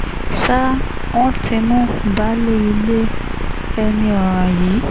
ṣá wọn ti mú baálé ilé ẹni ọ̀ràn yìí